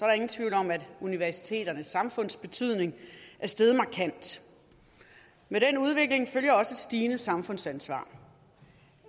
der ingen tvivl om at universiteternes samfundsbetydning er steget markant med den udvikling følger også et stigende samfundsansvar